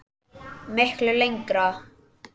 Miklu lengra.